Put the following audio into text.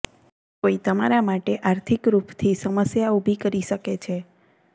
કોઈ તમારા માટે આર્થિક રૂપથી સમસ્યા ઉભી કરી શકે છે